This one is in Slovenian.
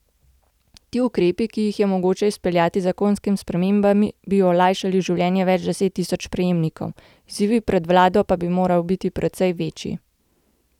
Ti ukrepi, ki jih je mogoče izpeljati z zakonskimi spremembami, bi olajšali življenje več deset tisoč prejemnikom, izzivi pred vlado pa bi morali biti precej večji.